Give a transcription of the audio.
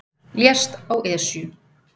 Lést á Esju